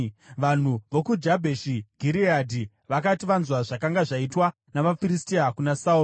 Vanhu vokuJabheshi Gireadhi vakati vanzwa zvakanga zvaitwa navaFiristia kuna Sauro,